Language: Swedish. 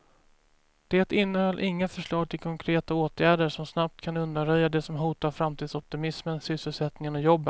Det innehöll inga förslag till konkreta åtgärder som snabbt kan undanröja det som hotar framtidsoptimismen, sysselsättningen och jobben.